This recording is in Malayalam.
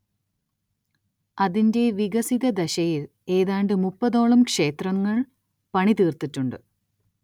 അതിന്റെ വികസിതദശയിൽ ഏതാണ്ട് മുപ്പതോളം ക്ഷേത്രങ്ങൾ പണിതീർത്തിട്ടുണ്ട്.